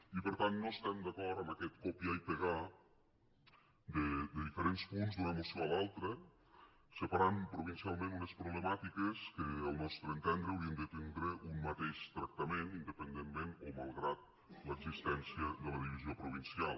i per tant no estem d’acord amb aquest copiar i pegar de diferents punts d’una moció a l’altra separant provincialment unes problemàtiques que al nostre entendre haurien de tindre un mateix tractament independentment o malgrat l’existència de la divisió provincial